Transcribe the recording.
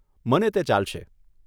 મને તે ચાલશે.